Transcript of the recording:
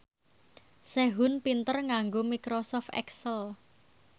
Sehun pinter nganggo microsoft excel